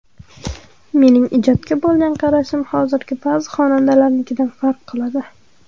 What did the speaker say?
Mening ijodga bo‘lgan qarashim hozirgi ba’zi xonandalarnikidan farq qiladi.